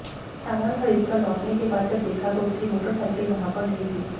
सामान खरीदकर लौटने के बाद जब देखा तो उसकी मोटर साइकिल वहां पर नहीं थी